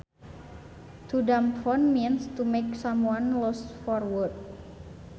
To dumbfound means to make someone lost for words